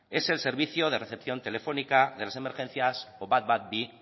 es el servicio de recepción telefónica de las emergencias o ehun eta hamabi